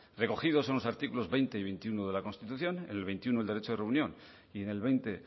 recogidos en los artículos veinte y veintiuno de la constitución el veintiuno el derecho de reunión y en el veinte